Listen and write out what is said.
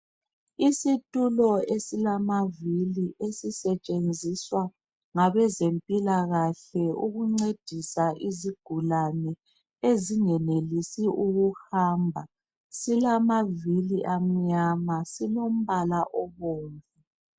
Isitulo esilamavili esisetshenziswa ngabe zempilakahle ukuncedisa izigulane ezingenelisi ukuhamba silamavili amnyama silombala obomvu.